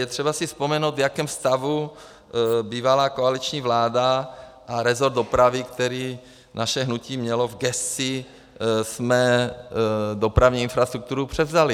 Je třeba si vzpomenout, v jakém stavu - bývalá koaliční vláda a resort dopravy, který naše hnutí mělo v gesci - jsme dopravní infrastrukturu převzali.